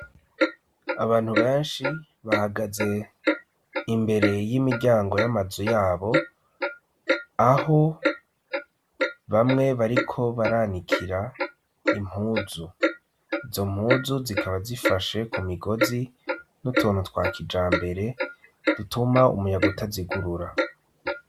Abantu benshi bahagaze imbere y'imiryango y'amazu yabo, aho bamwe bariko baranikira impuzu, izo mpuzu zikaba zifashe ku migozi n'utuntu twa kijambere dutuma umuyaga utazigurura.